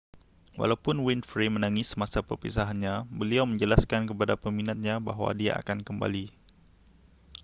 walaupun winfrey menangis semasa perpisahannya beliau menjelaskan kepada peminatnya bahawa dia akan kembali